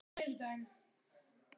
Við verðum að breyta gangi málsins.